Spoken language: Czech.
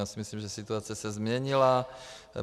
Já si myslím, že situace se změnila.